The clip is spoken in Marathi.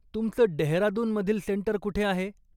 तुमचं डेहरादूनमधील सेंटर कुठे आहे?